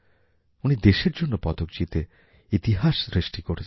উনি দেশের জন্য পদক জিতে ইতিহাস সৃষ্টি করেছেন